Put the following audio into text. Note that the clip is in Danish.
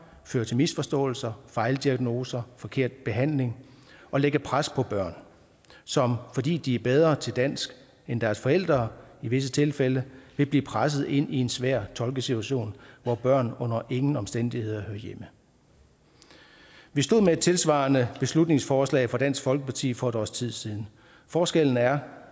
føre til misforståelser fejldiagnoser og forkert behandling og lægge pres på børn som fordi de er bedre til dansk end deres forældre i visse tilfælde vil blive presset ind i en svær tolkesituation hvor børn under ingen omstændigheder hører hjemme vi stod med et tilsvarende beslutningsforslag fra dansk folkeparti for et års tid siden forskellen er